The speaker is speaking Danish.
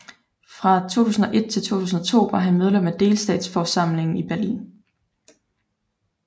Fra 2001 til 2002 var han medlem af delstatsforsamlingen i Berlin